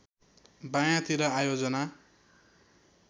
बायाँ तिर आयोजना